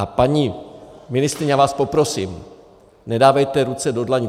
A paní ministryně , já vás poprosím, nedávejte ruce do dlaní.